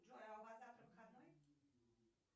джой а у вас завтра выходной